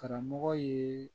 Karamɔgɔ ye